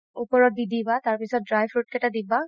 ওপৰত দি দিবা তাৰ পিছত dry fruit কেইটা দিবা